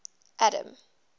adam